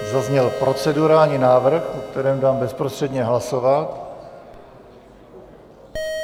Zazněl procedurální návrh, o kterém dám bezprostředně hlasovat.